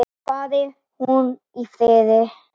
Fari hún í friði.